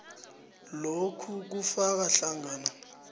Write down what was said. lokhu kufaka hlangana